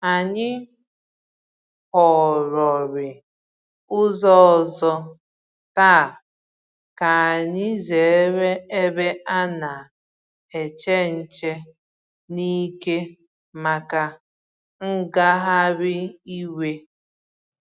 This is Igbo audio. Anyị họrọ̀rị ụzọ ọzọ̀ taa ka anyị zere ebe a na-eche nche n’ike màkà ngagharị iwe